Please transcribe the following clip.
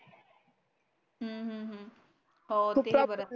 हम्म हम्म हम्म हो तेही बर